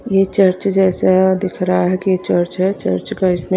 ये चर्च जैसा है दिख रहा है कि यह चर्च है चर्च का इसमें --